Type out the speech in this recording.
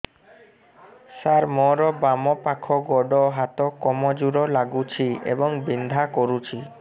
ସାର ମୋର ବାମ ପାଖ ଗୋଡ ହାତ କମଜୁର ଲାଗୁଛି ଏବଂ ବିନ୍ଧା କରୁଛି